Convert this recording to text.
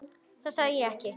Það sagði ég ekki.